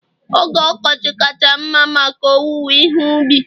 oge ọkọchị kacha mma maka owuwe ihe ubi